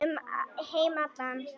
Um heim allan.